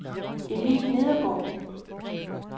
Emil Nedergaard